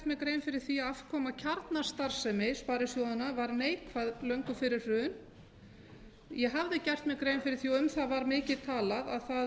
mér grein fyrir því að afkoma kjarnastarfsemi sparisjóðanna var neikvæð löngu fyrir hrun ég hafði gert mér grein fyrir því og um það var mikið talað að